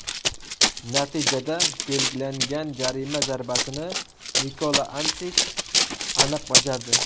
Natijada belgilangan jarima zarbasini Nikola Antich aniq bajardi.